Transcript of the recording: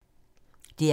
DR P3